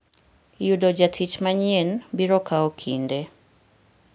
Yudo jatich manyien biro kawo kinde.